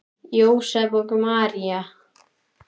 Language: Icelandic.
Jósep og María